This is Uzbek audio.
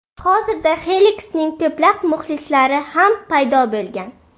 Hozirda Xeliksning ko‘plab muxlislari ham paydo bo‘lgan.